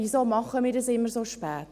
Warum machen wir dies immer so spät?